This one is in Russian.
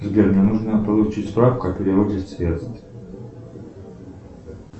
сбер мне нужно получить справку о переводе средств